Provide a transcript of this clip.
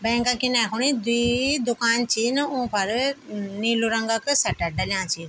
बैंक इने खुणी द्वि दूकान छी इन उन्फर नीलू रंग क सटर डल्या छी।